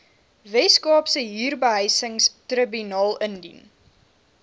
weskaapse huurbehuisingstribunaal indien